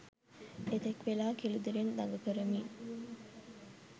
එතෙක් වේලා කෙළිදෙලෙන් දඟ කරමින්